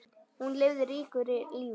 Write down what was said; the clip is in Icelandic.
Hún lifði ríku lífi.